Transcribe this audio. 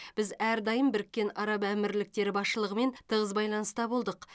біз әрдайым біріккен араб әмірліктері басшылығымен тығыз байланыста болдық